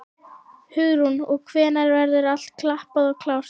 Hugrún: Og hvenær verður allt klappað og klárt?